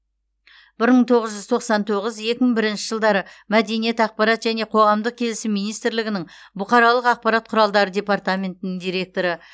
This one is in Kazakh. бір мың тоғыз жүз тоқсан тоғыз екі мың бірінші жылдары мәдениет ақпарат және қоғамдық келісім министрлігінің бұқаралық ақпарат құралдары департаментінің директоры